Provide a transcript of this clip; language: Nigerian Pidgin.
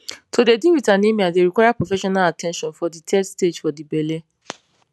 to dey deal wit anemia dey require professional at ten tion for de third stage for de belle